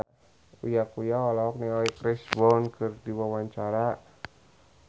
Uya Kuya olohok ningali Chris Brown keur diwawancara